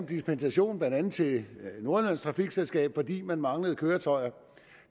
dispensation blandt andet til nordjyllands trafikselskab fordi man manglede køretøjer